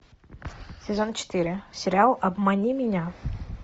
сезон четыре сериал обмани меня